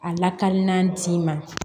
A lakaliman d'i ma